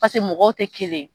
mɔgɔw tɛ kelen ye